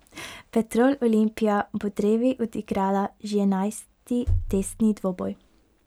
Petrol Olimpija bo drevi odigrala že enajsti testni dvoboj.